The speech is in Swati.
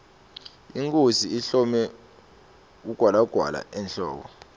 inkhosi ihlome ugwalagwala emhloko